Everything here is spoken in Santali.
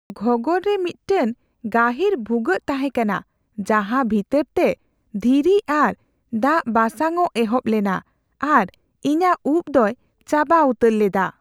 ᱜᱷᱚᱸᱜᱚᱨ ᱨᱮ ᱢᱤᱫᱴᱟᱝ ᱜᱟᱹᱦᱤᱨ ᱵᱷᱩᱜᱟᱹᱜ ᱛᱟᱦᱮᱸ ᱠᱟᱱᱟ ᱡᱟᱦᱟᱸ ᱵᱷᱤᱛᱟᱹᱨ ᱛᱮ ᱫᱷᱤᱨᱤ ᱟᱨ ᱫᱟᱜ ᱵᱟᱥᱟᱝᱼᱚᱜ ᱮᱦᱚᱵ ᱞᱮᱱᱟ ᱟᱨ ᱤᱧᱟᱹᱜ ᱩᱵ ᱫᱚᱭ ᱪᱟᱵᱟ ᱩᱛᱟᱹᱨ ᱞᱮᱫᱟ ᱾